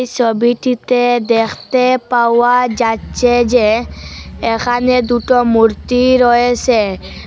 ছবিটিতে দেখতে পাওয়া যাচ্ছে যে এখানে দুটো মূর্তি রয়েছে।